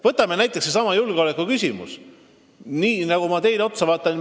Võtame näiteks sellesama julgeolekuküsimuse.